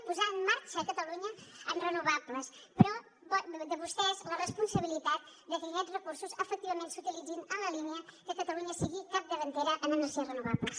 per posar en marxa catalunya en renovables però depèn de vostès la responsabilitat de que aquests recursos efectivament s’utilitzin en la línia que catalunya sigui capdavantera en energies renovables